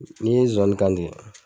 Ni ye zozani kantigɛ